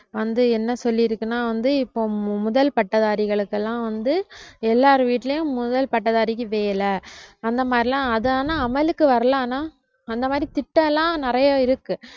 வந்து என்ன சொல்லிருக்குன்னா வந்து இப்ப முதல் பட்டதாரிகளுக்கெல்லாம் வந்து எல்லார் வீட்லயும் முதல் பட்டதாரிக்கு வேலை அந்த மாதிரிலாம் அது ஆனா அமலுக்கு வரலை ஆனா அந்த மாதிரி திட்டம் எல்லாம் நிறைய இருக்கு